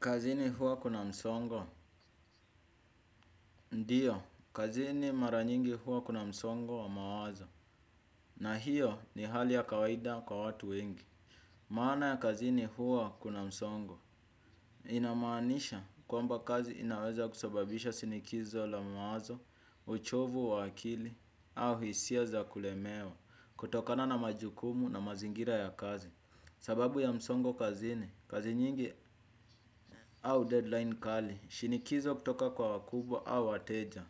Kazini hua kuna msongo. Ndio, kazini mara nyingi hua kuna msongo wa mawazo. Na hiyo ni hali ya kawaida kwa watu wengi. Maana ya kazini huwa kuna msongo. Inamaanisha kwamba kazi inaweza kusababisha shinikizo la mawazo, uchovu wa akili, au hisia za kulemewa, kutokana na majukumu na mazingira ya kazi. Sababu ya msongo kazini, kazi nyingi au deadline kali, shinikizo kutoka kwa wakubwa au wateja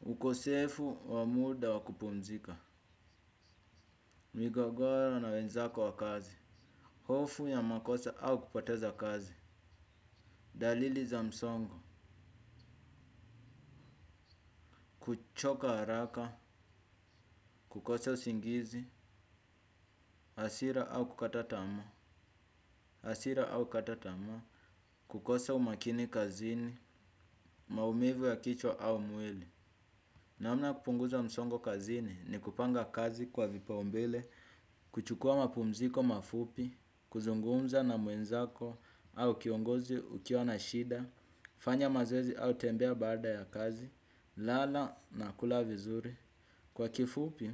ukosefu wa muda wakupumzika, migogoro na wenzako wa kazi, hofu ya makosa au kupoteza kazi dalili za msongo, kuchoka haraka, kukosa usingizi, hasira au kukata tamaa, hasira au kukata tamaa, kukosa umakini kazini, maumivu ya kichwa au mwili namna ya kupunguza msongo kazini ni kupanga kazi kwa vipau mbele, kuchukua mapumziko mafupi, kuzungumza na muenzako, au kiongozi ukiwa na shida, fanya mazlezi au tembea baada ya kazi, lala na kula vizuri. Kwa kifupi,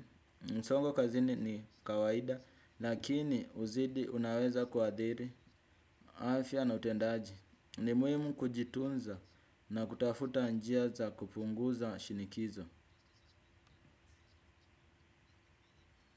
msongo kazini ni kawaida, lakini uzidi unaweza kuadhiri, afya na utendaji, ni muhimu kujitunza na kutafuta njia za kupunguza shinikizo.